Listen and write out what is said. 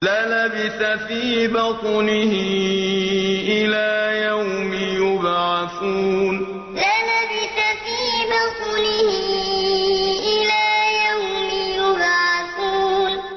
لَلَبِثَ فِي بَطْنِهِ إِلَىٰ يَوْمِ يُبْعَثُونَ لَلَبِثَ فِي بَطْنِهِ إِلَىٰ يَوْمِ يُبْعَثُونَ